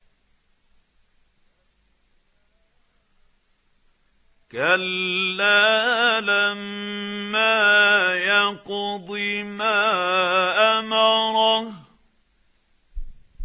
كَلَّا لَمَّا يَقْضِ مَا أَمَرَهُ